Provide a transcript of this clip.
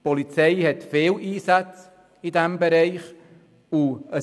Die Polizei tätigt in diesem Bereich viele Einsätze.